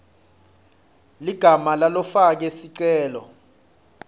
ligama lalofake sicelo